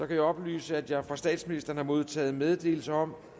kan oplyse at jeg fra statsministeren har modtaget meddelelse om